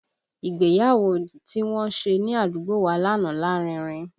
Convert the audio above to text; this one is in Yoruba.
Ìgbéyàwó tí wọ́n ṣe ní àdúgbò wa lánàá lárinrin